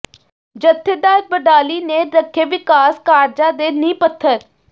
ਜਥੇਦਾਰ ਬਡਾਲੀ ਨੇ ਰੱਖੇ ਵਿਕਾਸ ਕਾਰਜਾਂ ਦੇ ਨੀਂਹ ਪੱਥਰ